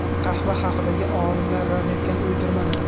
Qahva haqidagi olimlar rad etgan uydirmalar.